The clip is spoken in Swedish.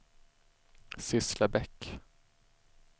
Sysslebäck